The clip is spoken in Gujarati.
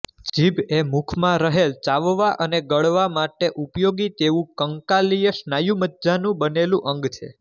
જીભ એ મુખમાં રહેલચાવવા અને ગળવા માટે ઉપયોગી તેવું કંકાલિય સ્નાયુમજ્જાનું બનેલ અંગ છે